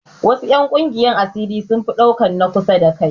Wasu 'yan ƙungiyar asiri sun fi ɗaukan na kusa da kai